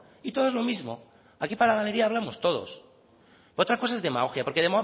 y todos lo mismo aquí para la galería hablamos todos otra cosa es demagogia porque